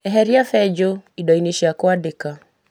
Eheria benjo indo-inĩ cia kuandĩka.